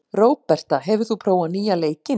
Róberta, hefur þú prófað nýja leikinn?